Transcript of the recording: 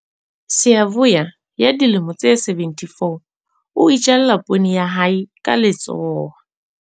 Siyavuya ya dilemo tse 74 o itjalla poone ya hae ka letsoho.